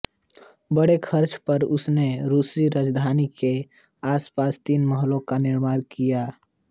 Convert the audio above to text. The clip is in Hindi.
बड़े खर्च पर उसने रूसी राजधानी के आसपास तीन महलों का निर्माण किया